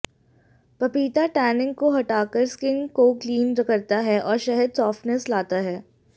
पपीता टैनिंग को हटाकर स्किन को क्लीन करता है और शहद सॉफ्टनेस लाता है